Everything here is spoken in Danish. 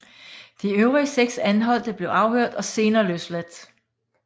De øvrige seks anholdte blev afhørt og senere løsladt